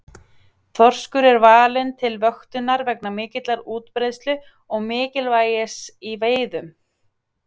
Þorskur er valinn til vöktunar vegna mikillar útbreiðslu og mikilvægis í veiðum.